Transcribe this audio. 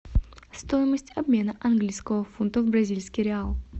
стоимость обмена английского фунта в бразильский реал